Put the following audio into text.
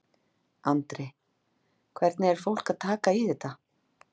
Andri: Hvernig er fólk að taka í þetta?